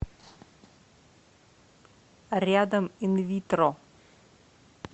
рядом инвитро